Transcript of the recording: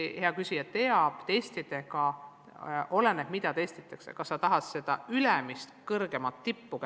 Praegu tahab gümnaasium kätte saada seda ülemist kõige kõrgemat tippu.